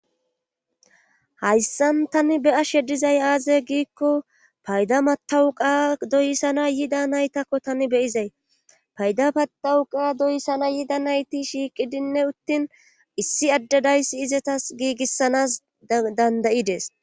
Hayssan tani be7ashe dizay aaze giikko payda matawuqa doyssana yida naytakko tani beyizay payda patawuqa doyssana yida nayti shiiqidinne uttin issi addadayssi izetas giigissanas dandayides